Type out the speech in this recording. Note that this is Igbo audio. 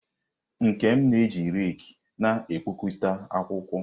Nkem na-eji raki na-ekpokọta akwụkwọ.